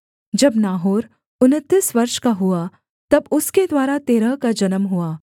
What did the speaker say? जब नाहोर उनतीस वर्ष का हुआ तब उसके द्वारा तेरह का जन्म हुआ